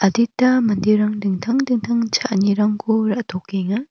adita manderang dingtang dingtang cha·anirangko ra·tokenga.